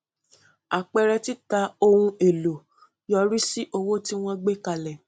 àpẹẹrẹ tita ohun èlò yọrí sí owó tí wọn gbé kalẹ